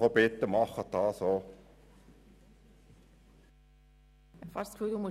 Ich bitte Sie, das auch zu tun.